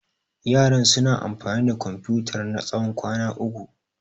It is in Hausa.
Yaran suna amfani da Komfutar na tsawon kwana uku.